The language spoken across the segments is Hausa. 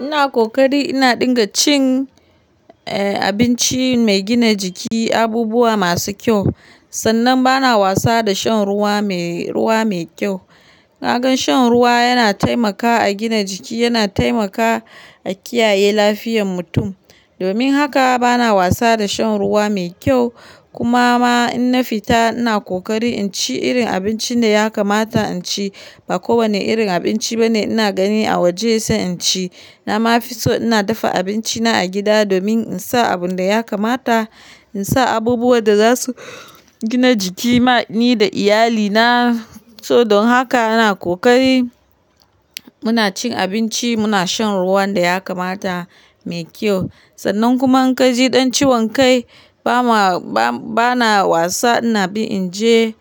Ina kokari ina dinga cin, eh abinci mai gina jiki, abubuwa masu kyau. Sannan bana wasa da shan ruwa mai, ruwa mai kyau. Na gan shan ruwa yana taimakawa a gina jiki, yana taimakawa a kiyaye lafiyar mutum. Domin haka bana wasa da shan ruwa mai kyau. Kuma ma in na fita ina kokari in ci irin abincin da ya kamata in ci. Ba kowane irin abinci bane ina gani a waje sai in ci. Na ma fi so ina dafa abinci na a gida domin in sa abun da ya kamata, in sa abubuwan da za su gina jiki ma ni da iyalina. So don haka ina kokari muna cin abinci, muna shan ruwan da ya kamata mai kyau. Sannan kuma in ka ji ɗan ciwon kai, ba ma, ba, bana wasa ina bi in je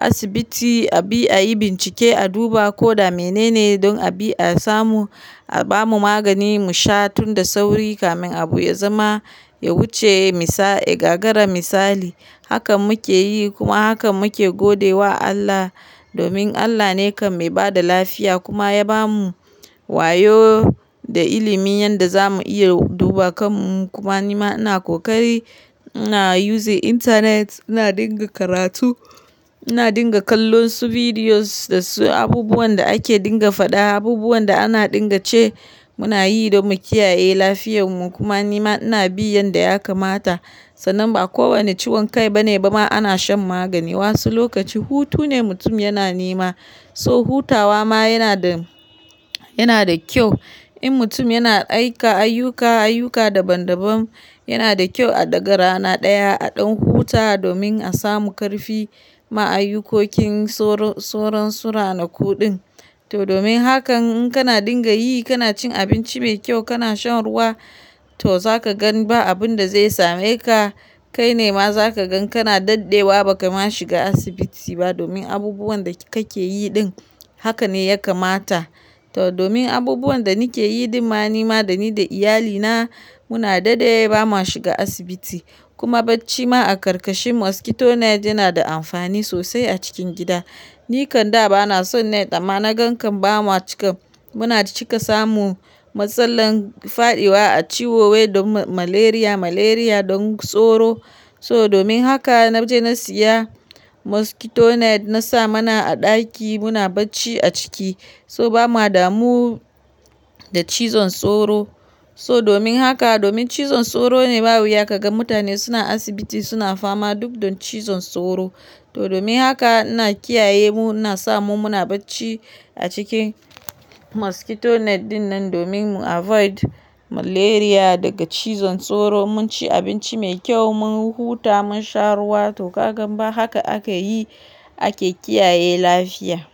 asibiti a bi a yi bincike, a duba ko da menene don a bi a samu, a ba mu magani mu sha tun da sauri kamin abu ya zama, ya wuce misa, ya gagara misali. Hakan muke yi kuma hakan muke gode wa Allah. Domin Allah ne kam mai ba da lafiya kuma ya ba mu wayo da ilimin yadda za mu iya duba kan mu. Kuma ni ma ina kokari. Ina yuzin intanet, ina dinga karatu, ina dinga kallon su bidiyos da su abubuwan da ake dinga faɗa, abubuwan da ana dinga ce muna yi don mu kiyaye lafiyan mu. Kuma ni ma ina bi yanda ya kamata. Sannan ba kowani ciwon kai bane ba ma ana shan magani. Wasu lokaci hutune mutum yana nema. So hutawa ma yana da, yana da kyau. In mutum yana aika ayyuka, ayyuka daban daban, yana da kyau a ɗaga rana ɗaya a ɗan huta domin a samu ƙarfi. Ma ayyukokin soro, soron suranakun ɗin. To domin haka in kana dinga yi, kana cin abinci mai kyau, kana shan ruwa, to za ka gan ba abun da zai same ka. Kai ne ma za ka gan kana daɗewa ba ka ma shiga asibiti ba domin abubuwan da kake yi ɗin haka ne ya kamata. To domin abubuwan da nike yi ɗin ma ni ma da ni da iyalina muna daɗe ba ma shiga asibiti. Kuma bacci ma a karkashin moskitonet yana da amfani sosai a cikin gida. Ni kan da ba na son net amma na gan kan ba mu a cika, muna cika samu matsalan faɗiwa a ciwo wai don malaria, malaria don tsoro. So domin haka na je na siya moskitonet na sa mana a ɗaki muna bacci a ciki. So ba muwa damu da cizon tsoro. So domin haka, domin cizon tsoro ne ba wuya ka ga mutane suna asibiti suna fama duk don cizon tsoro. To domin haka ina kiyaye mu, ina sa mu muna bacci a cikin moskitoneti ɗin nan domin mu avoid malaria daga cizon tsoro. Mun ci abinci mai kyau, mun huta, mun sha ruwa. To ka gan ba haka aka yi ake kiyaye lafiya.